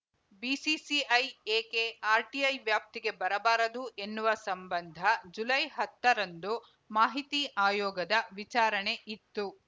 BCCI ಏಕೆ RTI ವ್ಯಾಪ್ತಿಗೆ ಬರಬಾರದು ಎನ್ನುವ ಸಂಬಂಧ ಜುಲೈ ಹತ್ತರಂದು ಮಾಹಿತಿ ಆಯೋಗದ ವಿಚಾರಣೆ ಇತ್ತು